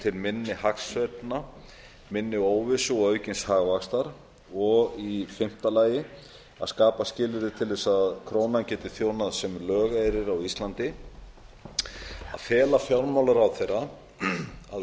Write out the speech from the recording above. til minni hagsveiflna minni óvissu og aukins hagvaxtar og e að skapa skilyrði til þess að krónan geti þjónað sem lögeyrir á ísland að fela fjármálaráðherra að undirbúa